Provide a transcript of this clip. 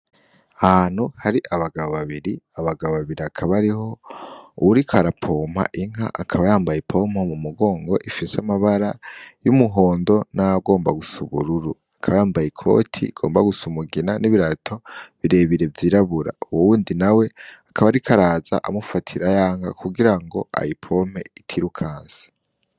Ahanu hari abagabo babiri abagabo babiri akabariho uwuri karapompa inka akaba yambaye ipompa mu mugongo ifise amabara y'umuhondo n'agomba gusaubururu akabayambaye i koti igomba gusa umugina n'ibirato birebire vyirabura uwo wundi na we akaba, ariko araza amufata irayanka ku gira ngo ayipompe itirukansi.